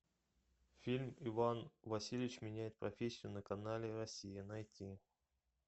фильм иван васильевич меняет профессию на канале россия найти